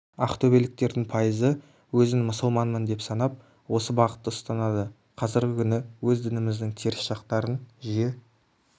ақтөбеліктердің пайызы өзін мұсылманмын деп санап осы бағытты ұстанады қазіргі күні өз дініміздің теріс жақтарын жиі